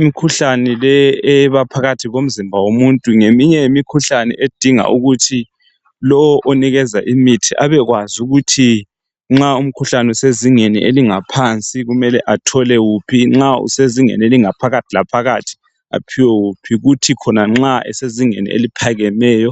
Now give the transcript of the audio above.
Imkhuhlane leyi ebaphakathi komzimba yomuntu ngeminye yemikhuhlane edinga ukuthi lowu onikeza imithi abekwazi ukuthi nxa usezingeni eliphansi kumele athole kuphi, nxa usezingeni alingaphakathi aphiwe wuphi, nxa usezingeni eliphakemeyo